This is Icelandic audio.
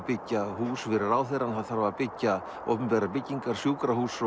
byggja hús fyrir ráðherra það þarf að byggja opinberar byggingar sjúkrahús